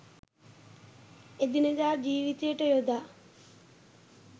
එදිනෙදා ජීවිතයට යොදා